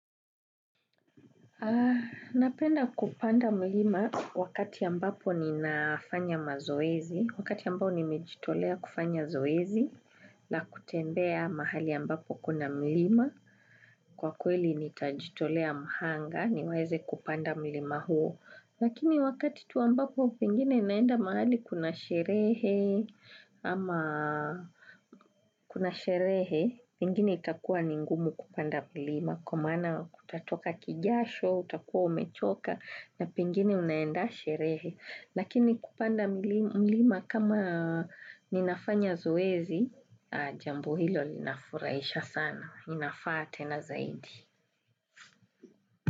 Napenda kupanda mlima wakati ambapo ninafanya mazoezi. Wakati ambao nimejitolea kufanya zoezi la kutembea mahali ambapo kuna mlima. Kwa kweli nitajitolea mhanga niweze kupanda mlima huo. Lakini wakati tu ambapo pengine naenda mahali kuna sherehe ama kuna sherehe, pengine itakuwa ningumu kupanda milima. Kwa maana kutatoka kijasho, utakuwa umechoka na pengine unaenda sherehe. Lakini kupanda mlima kama ninafanya zoezi, jambo hilo linafuraisha sana. Inafaa te na zaidi.